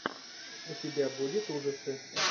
у тебя будет ужасы